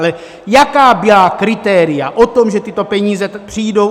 Ale jaká byla kritéria o tom, že tyto peníze přijdou?